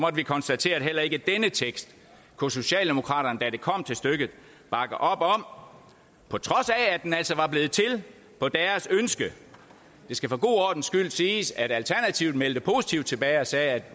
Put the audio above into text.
vi konstatere at heller ikke denne tekst kunne socialdemokraterne da det kom til stykket bakke op om på trods af at den altså var blevet til på deres ønske det skal for god ordens skyld siges at alternativet meldte positivt tilbage og sagde at